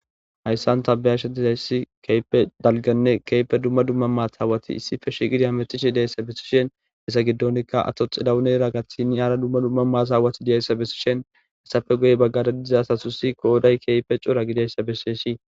Hayssan ta bayashe dizayssi keehipe dalganne keehipe dumma dumma maataawati issippe shigidi hametishe diyayssa bessishen hessa giddonikka ato xillawunera gathini ara dumma dumma maataawati diyayssa bessishen hessappe guye baggara diza asatusi qooday keehipe cora gidayssa bessesi.